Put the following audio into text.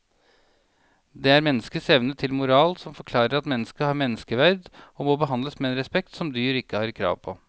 Det er menneskets evne til moral som forklarer at mennesket har menneskeverd og må behandles med en respekt som dyr ikke har krav på.